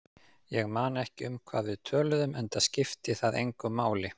Ég man ekki um hvað við töluðum, enda skipti það engu máli.